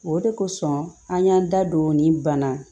O de kosɔn an y'an da don nin bana